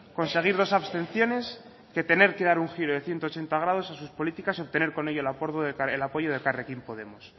conseguir dos abstenciones que tener que dar un giro de ciento ochenta grados a sus políticas y obtener con ello el apoyo de elkarrekin podemos